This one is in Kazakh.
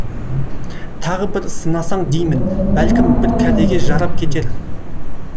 тағы бір сынасаң деймін бәлкім бір кәдеге жарап кетер